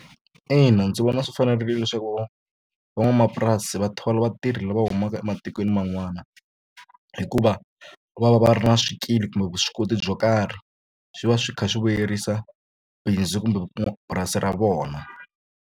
Ina ndzi vona swi fanerile leswaku van'wamapurasi va thola vatirhi lava humaka ematikweni man'wana hikuva va va va ri na swikili kumbe vuswikoti byo karhi swi va swi kha swi vuyerisa bindzu kumbe purasi ra vona.